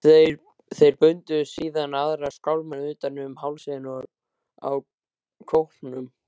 Þeir bundu síðan aðra skálmina utan um hálsinn á kópnum.